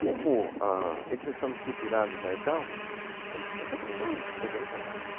Como a, eles já estavam estruturados lá e tal, eu falei assim, ah está bom, então eu venho para cá.